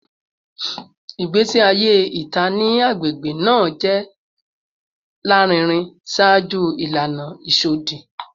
Igbesi aye ita ni agbegbe naa jẹ larinrin ṣaaju ilana isọdi